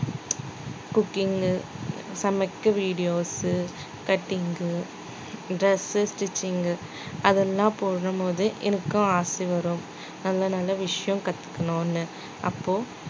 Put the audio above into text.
cooking சமைக்க videos cutting, dress stitching அதெல்லாம் பண்ணும் போது எனக்கும் ஆசை வரும் நல்ல நல்ல விஷயம் கத்துக்கணும்னு அப்போ